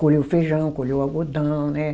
Colher o feijão, colher o algodão, né?